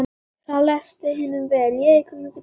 Það leist hinum vel á.